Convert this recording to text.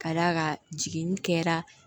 Ka d'a kan jiginni kɛra